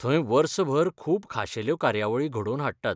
थंय वर्सभर खूब खाशेल्यो कार्यावळी घडोवन हाडटात.